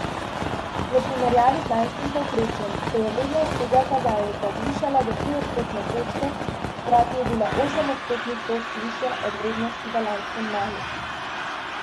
V primerjavi z lanskim povprečjem se je vrednost tega kazalnika zvišala za tri odstotne točke, hkrati je bila osem odstotnih točk višja od vrednosti v lanskem maju.